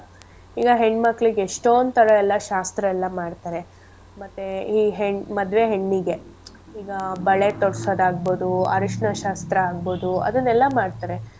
ಈಗ ಹೆಣ್ ಮಕ್ಳಿಗ್ ಎಷ್ಟೊಂತರ ಎಲ್ಲಾ ಶಾಸ್ತ್ರ ಎಲ್ಲಾ ಮಾಡ್ತಾರೆ ಮತ್ತೆ ಈ ಹೆ~ ಮದ್ವೆ ಹೆಣ್ಣಿಗೆ ಈಗ ಬಳೆ ತೊಡ್ಸೋದ್ ಆಗ್ಬೋದು ಅರಶ್ನ ಶಾಸ್ತ್ರ ಆಗ್ಬೋದು ಅದನ್ನೆಲ್ಲ ಮಾಡ್ತಾರೆ.